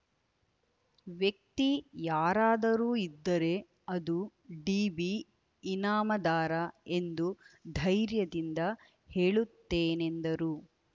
ವ್ಯಕ್ತಿ ಯಾರಾದರೂ ಇದ್ದರೆ ಅದು ಡಿಬಿಇನಾಮದಾರ ಎಂದು ಧೈರ್ಯದಿಂದ ಹೇಳುತ್ತೇನೆಂದರು